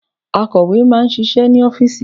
Akọ̀wé máà ń ṣiṣẹ́ ní ọ́fìsì.